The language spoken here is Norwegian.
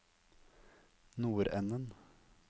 nordenden